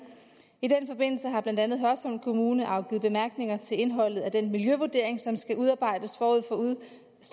i den forbindelse har blandt andet hørsholm kommune afgivet bemærkninger til indholdet af den miljøvurdering som skal udarbejdes forud